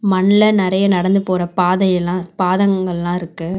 மண்ல நறைய நடந்து போற பாதையெலா பாதங்கள்லா இருக்கு.